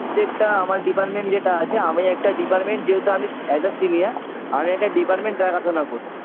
যেকটা আমার department যেটা আছে আমি একটা department যেহেতু আমি অ্যা as a senior আমি একটা department দেখাশোনা করি